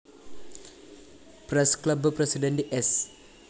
press club president സ്‌